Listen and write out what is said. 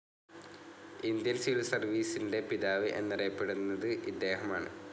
Indian civil സർവീസിന്റെ പിതാവ് എന്നറിയപ്പെടുന്നത് ഇദ്ദേഹമാണ്.